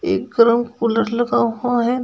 एक कूलर लगा हुआ है।